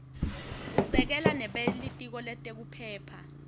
usekela nebelitiko letekuphepha